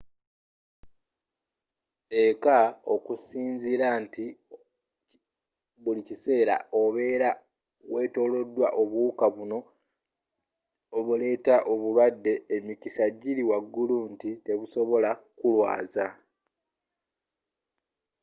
ekka okusinzira nti buli kiseera obera wetoloddwa obuwuka bunno obuleta obulwadde emikisa jili waggulu nti tebusobola kulwaza